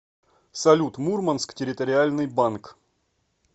салют мурманск территориальный банк